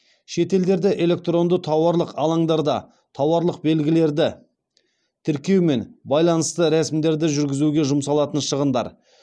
шетелдерде электронды тауарлық алаңдарда тауарлық белгілерді тіркеумен байланысты рәсімдерді жүргізуге жұмсалатын шығындар